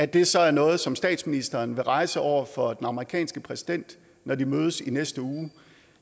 det er så noget som statsministeren vil rejse over for den amerikanske præsident når de mødes i næste uge